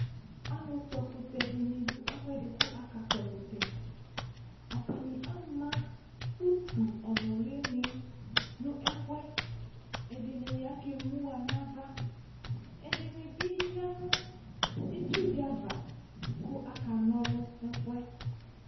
Alukpɔ ɛkutɛ dini dʋ ɛfuɛdi kʋ akakpɔ ɛkutɛAtani ama utu ɔnuli ni nʋ ɛfuɛƐdini akemuɣanavaƐdini bi yanu itsu diava kʋ akanɔlʋ nɛfuɛ